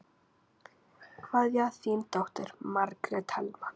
Kveðja, þín dóttir, Margrét Helma.